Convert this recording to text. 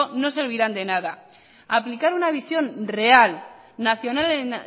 no servirán de nada aplicar una visión real nacional en